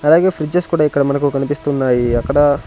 అలాగే ఫ్రిడ్జెస్ కుడా ఇక్కడ మనకు కనిపిస్తున్నాయి అక్కడ--